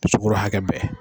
Sukɔro hakɛ bɛn